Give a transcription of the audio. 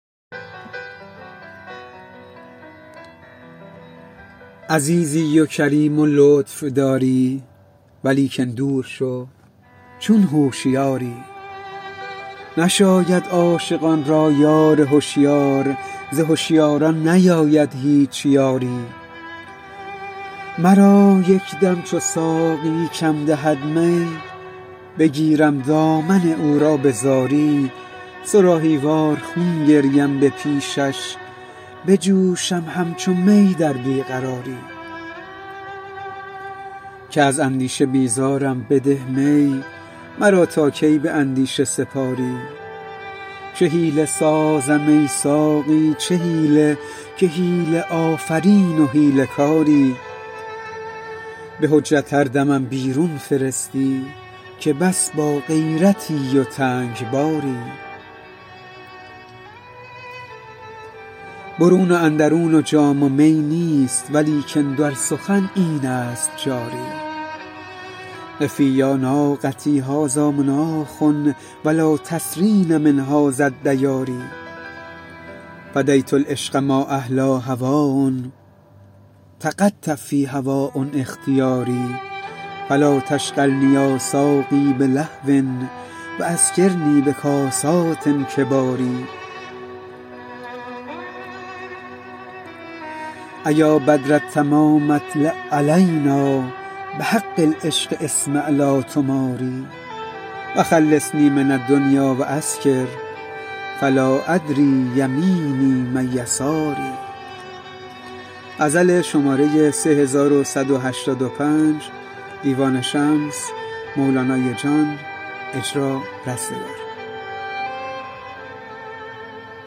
عزیزی و کریم و لطف داری ولیکن دور شو چون هوشیاری نشاید عاشقان را یار هشیار ز هشیاران نیاید هیچ یاری مرا یکدم چو ساقی کم دهد می بگیرم دامن او را به زاری صراحی وار خون گریم به پیشش بجوشم همچو می در بی قراری که از اندیشه بیزارم بده می مرا تا کی به اندیشه سپاری چه حیله سازم ای ساقی چه حیله که حیله آفرین و حیله کاری به حجت هر دمم بیرون فرستی که بس باغیرتی و تنگ باری برون و اندرون و جام و می نیست ولیکن در سخن اینست جاری قفی یا ناقتی هذا مناخ ولا تسرین من هذاالدیار فدیت العشق ما احلی هواه تقطع فی هواه اختیاری فلا تشغلنی یا ساقی بلهو واسکرنی بکاسات کبار ایا بدرالتمام اطلع علینا بحق العشق اسمع لاتمار وخلصنی من الدنیا واسکر فلا ادری یمینی من یساری